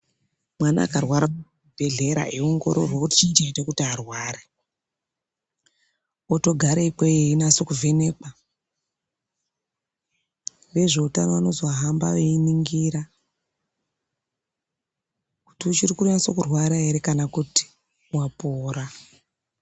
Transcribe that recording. Mwana akarwara kuchibhedhlera eiongororwa kuti chii chaita kuti arware otogara ikweyo einasovhenekwa. Vezveutano vanozohamba veiningira kuti uchiri kunyatsokurwara here kana kuti wapora.